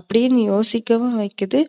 அப்டினு யோசிக்கவும் வைக்கிது